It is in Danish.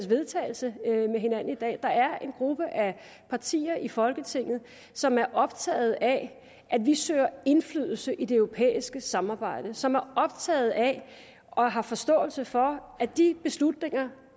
vedtagelse i dag der er en gruppe af partier i folketinget som er optaget af at vi søger indflydelse i det europæiske samarbejde som er optaget af og har forståelse for at de beslutninger